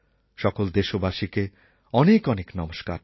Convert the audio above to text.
সকল দেশবাসীকে অনেক অনেক নমস্কার